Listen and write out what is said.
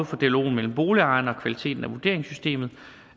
for dialogen mellem boligejerne og kvaliteten af vurderingssystemet